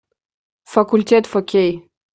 факультет фо кей